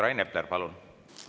Rain Epler, palun!